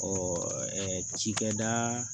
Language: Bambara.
cikɛda